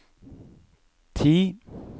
ti